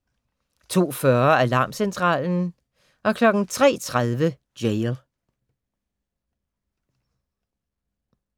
02:40: Alarmcentralen 03:30: Jail